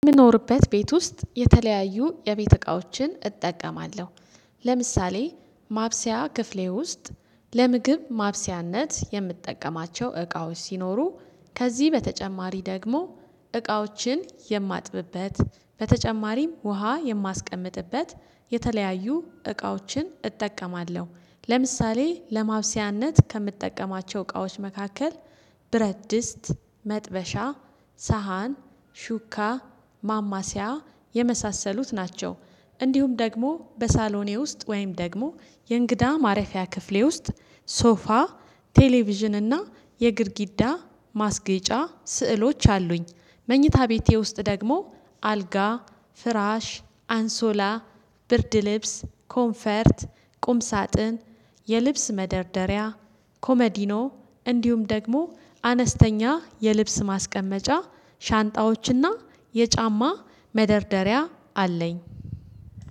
የምኖርበት ቤት ውስጥ የተለያዩ የቤት እቃዎችን እጠቀማለሁ። ለምሳሌ ማብሰያ ክፍሌ ውስጥ ለምግብ ማብሰያነት የምጠቀማቸው እቃዎች ሲኖሩ ከዚህ በተጨማሪ ደግሞ እቃዎችን የማጥብበት በተጨማሪም ውሃ የማስቀምጥበት የተለያዩ እቃዎችን እጠቀማለሁ ለምሳሌ ለማብሰያነት ከምጠቀማቸው እቃዎች መካከል ብረትድስት መጥበሻ ሳህን ሹካ ማማሲያ የመሳሰሉት ናቸው። እንዲሁም ደግሞ በሳሎኔ ውስጥ ወይም ደግሞ የእንግዳ ማረፊያ ክፍሌ ውስጥ ሶፋ ቴሌቪዥን እና የግድጊዳ ማስጌጫ ስዕሎች አሉኝ። መኝታ ቤቴ ውስጥ ደግሞ አልጋ ፍራሽ አንሶላ ብርድ ልብስ ኮንፈርት ቁም ሳጥን የልብስ መደርደሪያ ኮመዲኖ እንዲሁም ደግሞ አነስተኛ የልብስ ማስቀመጫ ሻንጣዎችና የጫማ መደርደሪያ አለኝ።